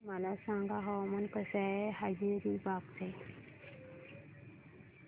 मला सांगा हवामान कसे आहे हजारीबाग चे